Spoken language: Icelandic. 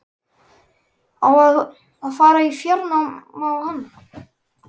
Á að fara í fjárnám á hann?